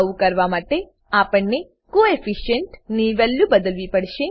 આવું કરવા માટેઆપણને કોએફિશિયન્ટ કોઓફિસંટ ની વેલ્યુ બદલવી પડશે